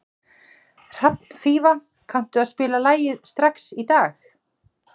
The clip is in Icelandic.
Hrafnfífa, kanntu að spila lagið „Strax í dag“?